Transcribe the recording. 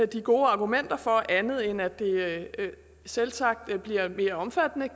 de gode argumenter for andet end at det selvsagt kan blive mere omfattende